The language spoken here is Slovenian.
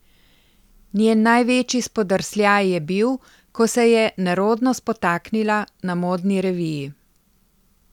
Njen največji spodrsljaj je bil, ko se je nerodno spotaknila na modni reviji.